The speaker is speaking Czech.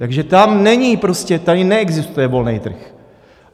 Takže tam není prostě... tady neexistuje volný trh.